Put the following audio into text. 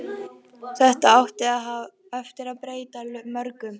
Þetta átti eftir að breyta mörgu.